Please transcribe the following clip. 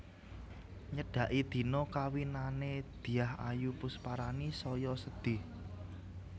Nyedaki dina kawinane Dyah Ayu Pusparani saya sedih